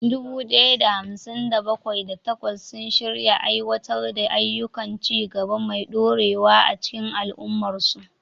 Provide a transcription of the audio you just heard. Dubu ɗaya da hamsin da bakwai, da takwas sun shirya aiwatar da ayyukan ci gaba mai dorewa a cikin al'ummarsu.